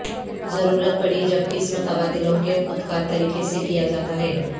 ضرورت پڑی جب قسم تبادلوں کے خود کار طریقے سے کیا جاتا ہے